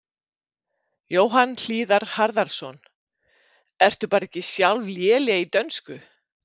Jóhann Hlíðar Harðarson: Ertu bara ekki sjálf léleg í dönsku?